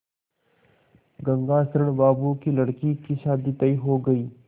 गंगाशरण बाबू की लड़की की शादी तय हो गई